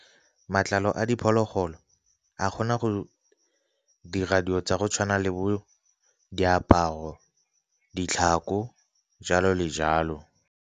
Matlalo a diphologolo a kgona go dira dilo tsa go tshwana le bo diaparo, ditlhako jalo le jalo.